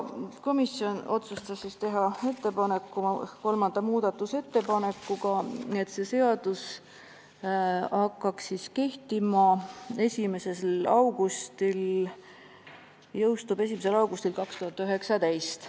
Komisjon otsustas teha kolmanda muudatusettepaneku, et see seadus jõustuks 1. augustil 2019.